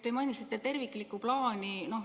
Te mainisite terviklikku plaani.